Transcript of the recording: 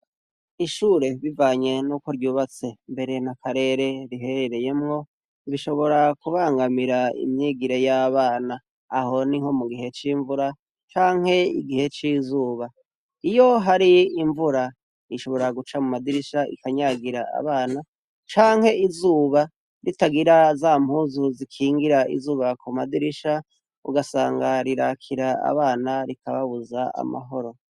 Ishure bivanye no ku ryubatse, mbere na karere riherereyemwo, bishobora kubangamira imyigire y'abana aho ni nko mu gihe c'imvura canke igihe c'izuba, iyo hari imvura ishobora guca mu madirisha ikanyagira abana canke izuba itagira za mpuzu zikingira izuba ku madirisha ugasanga rirakira abana rikababuza amahoro.